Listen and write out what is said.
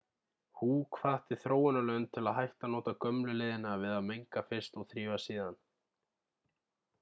hu hvatti þróunarlönd til að hætta að nota gömlu leiðina við að menga fyrst og þrífa síðan